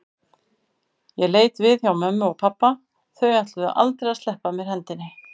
Ég leit við hjá mömmu og pabba, þau ætluðu aldrei að sleppa af mér hendinni.